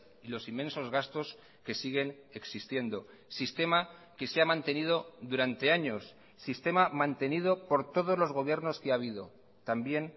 y los inmensos gastos que siguen existiendo sistema que se ha mantenido durante años sistema mantenido por todos los gobiernos que ha habido también